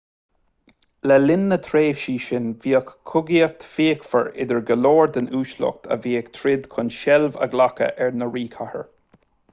le linn na dtréimhsí sin bhíodh cogaíocht fhíochmhar idir go leor den uaisleacht a bhí ag troid chun seilbh a ghlacadh ar an ríchathaoir